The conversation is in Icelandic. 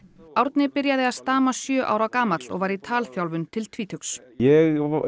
Árni byrjaði að stama sjö ára gamall og var í talþjálfun til tvítugs ég